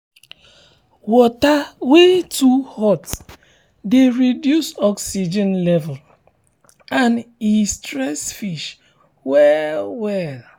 water wey too hot de reduce oxygen level and e stress fish well well